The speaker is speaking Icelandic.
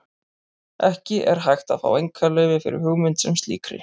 Ekki er hægt að fá einkaleyfi fyrir hugmynd sem slíkri.